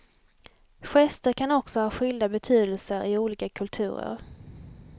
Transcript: Gester kan också ha skilda betydelser i olika kulturer.